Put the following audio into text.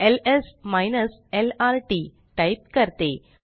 LS lrt type करते